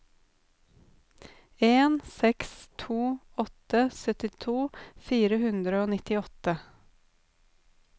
en seks to åtte syttito fire hundre og nittiåtte